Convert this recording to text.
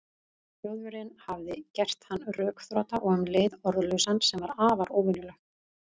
Þjóðverjinn hafði gert hann rökþrota og um leið orðlausan, sem var afar óvenjulegt.